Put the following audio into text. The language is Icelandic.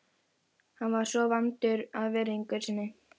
Hún er nauðsynleg til myndunar rauðra blóðkorna.